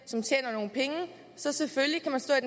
som tjener nogle penge så selvfølgelig kan man stå